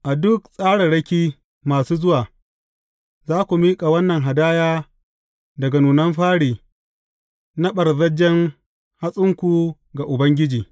A duk tsararraki masu zuwa, za ku miƙa wannan hadaya daga nunan fari na ɓarzajjen hatsinku ga Ubangiji.